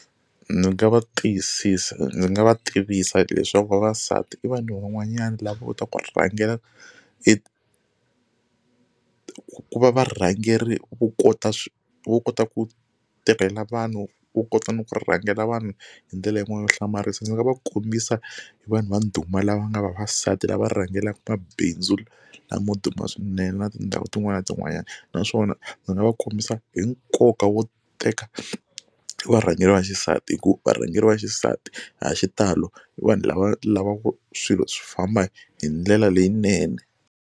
Ni nga va tiyisisa ndzi nga va tivisa leswaku vavasati i vanhu van'wanyani lavo kota ku rhangela ku va varhangeri vo kota vo kota ku teka hina vanhu vo kota na ku rhangela vanhu hi ndlela yin'wana yo hlamarisa ndzi nga va kombisa hi vanhu va ndhuma lava nga vavasati lava rhangelaka mabindzu lamo duma swinene na tindhawu tin'wana na tin'wanyana naswona ndzi nga va kombisa hi nkoka wo teka varhangeri va xisati hi ku varhangeri va xisati ha xitalo i vanhu lava lavaka swilo swi famba hi ndlela leyinene.